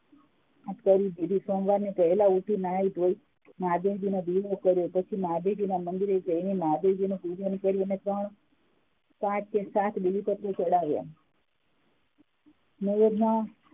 કરી દીધું સોમવાર વહેલા ઉઠી નાઈ ધોઈ મહાદેવજીનો દીવો કર્યો પછી મહાદેવજીના મંદિરે જઈ મહાદેવજીની પૂજા કરી એ પાંચ થી સાત બીલીપત્રો ચડાવ્યા